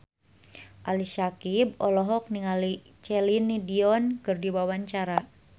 Ali Syakieb olohok ningali Celine Dion keur diwawancara